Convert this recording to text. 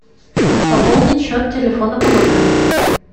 пополнить счет телефона по номеру